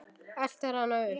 Eltir hana uppi.